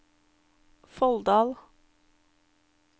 Folldal